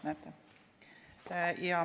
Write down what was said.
Näete.